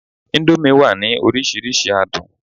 indomie wa ni orísirísi adun